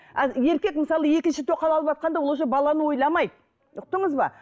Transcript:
еркек мысалы екінші тоқал алыватқанда ол уже баланы ойламайды ұқтыңыз ба